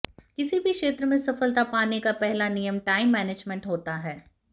किसी भी क्षेत्र में सफलता पाने का पहला नियम टाइम मैनेजमेंट होता है